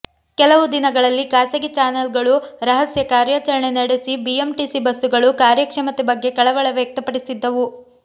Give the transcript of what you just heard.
ಕೆಲವು ದಿನಗಳಲ್ಲಿ ಖಾಸಗಿ ಚಾನೆಲ್ಗಳು ರಹಸ್ಯ ಕಾರ್ಯಚರಣೆ ನಡೆಸಿ ಬಿಎಂಟಿಸಿ ಬಸ್ಸುಗಳು ಕಾರ್ಯಕ್ಷಮತೆ ಬಗ್ಗೆ ಕಳವಳ ವ್ಯಕ್ತಪಡಿಸಿದ್ದವು